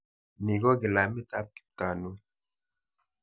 Ni ko kilamit ap Kiptanui.